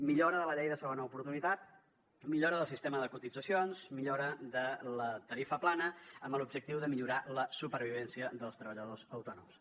millora de la llei de la segona oportunitat millora del sistema de cotitzacions millora de la tarifa plana amb l’objectiu de millorar la supervivència dels treballadors autònoms